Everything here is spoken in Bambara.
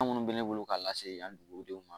Fɛn minnu bɛ ne bolo k'a lase yan dugudenw ma